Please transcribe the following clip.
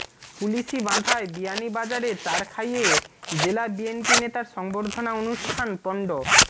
পুলিশী বাঁধায় বিয়ানীবাজারের চারখাইয়ে জেলা বিএনপি নেতার সংবর্ধনা অনুষ্ঠান পন্ড